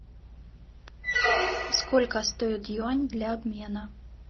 сколько стоит юань для обмена